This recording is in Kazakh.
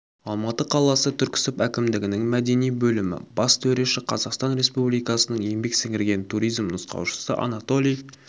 алматы қаласы түрксіб әкімдігінің мәдени бөлімі бас төреші қазақстан республикасының еңбек сіңірген туризм нұсқаушысы анатолий